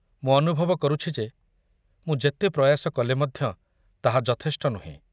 ମୁଁ ଅନୁଭବ କରୁଛି ଯେ ମୁଁ ଯେତେ ପ୍ରୟାସ କଲେ ମଧ୍ୟ ତାହା ଯଥେଷ୍ଟ ନୁହେଁ।